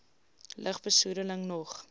lug besoedeling nog